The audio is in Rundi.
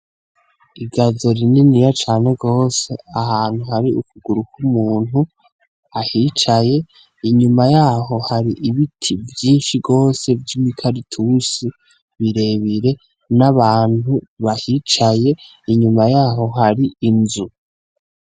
Igazo rininiya cane gose, ahantu hari ukuguru kw' umuntu ahicaye inyuma yaho hari ibiti vyinshi gose vyimi karatusi birebire n' abantu bahicaye inyuma yaho hari inzu.